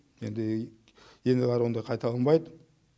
енді ендігі қарай ондай қайталанбайды